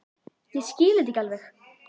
Ég skil þetta ekki alveg.